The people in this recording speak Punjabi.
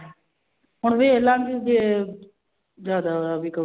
ਹੁਣ ਵੇਖ ਲਵਾਂਗੀ ਜੇ ਜ਼ਿਆਦਾ ਵੀ ਕਹੂ